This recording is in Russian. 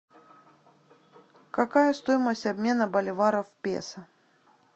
какая стоимость обмена боливара в песо